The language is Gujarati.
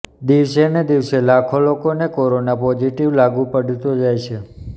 દિવસે ને દિવસે લાખો લોકોને કોરોના પોઝિટિવ લાગુ પડતો જાય છે